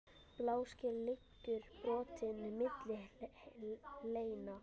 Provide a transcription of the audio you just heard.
Bláskel liggur brotin milli hleina.